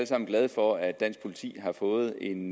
sammen glade for at dansk politi har fået en